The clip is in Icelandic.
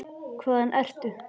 Hvaðan ertu?